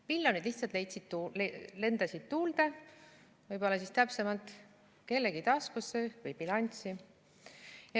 Miljonid lihtsalt lendasid tuulde, võib-olla täpsemalt kellegi taskusse või bilanssi.